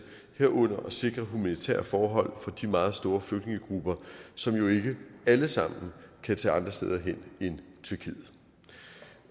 herunder at sikre humanitære forhold for de meget store flygtningegrupper som jo ikke alle sammen kan tage andre steder hen end tyrkiet